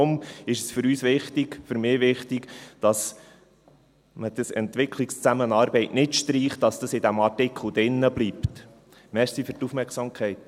Deshalb ist es für uns wichtig, ist es für mich wichtig, dass man dieses «Entwicklungszusammenarbeit» nicht streicht, dass das in diesem Artikel drin bleibt.